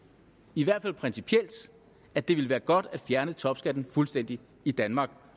i hvert fald principielt at det ville være godt at fjerne topskatten fuldstændig i danmark